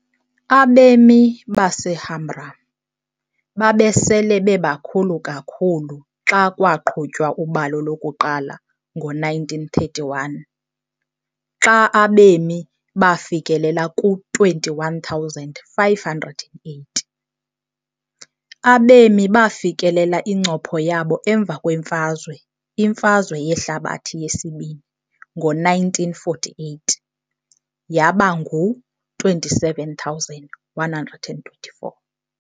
Abemi baseHamrun babesele bebakhulu kakhulu xa kwaqhutywa ubalo lokuqala ngo-1931, xa abemi bafikelela ku-21,580. Abemi bafikelela incopho yabo emva kwemfazwe, imfazwe yehlabathi yesibini, ngo-1948, yaba ngu-27 124.